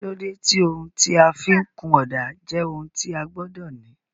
kílódé tí ohun tí a fi ń kun ọ̀dà jẹ́ ohun tí a gbọ́dọ̀ ní?